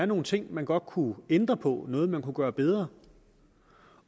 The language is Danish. nogle ting man godt kunne ændre på noget man kunne gøre bedre